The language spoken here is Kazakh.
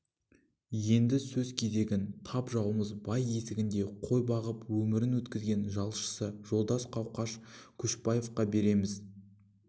енді сөз кезегін тап жауымыз бай есігінде қой бағып өмірін өткізген жалшысы жолдас қауқаш көшекбаевқа береміз